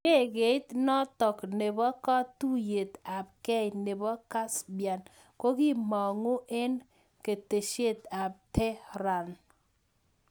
Ndekeit notok nepoo katuyet ap gei nepoo Caspian kokimanguu eng keteshet ap Tehran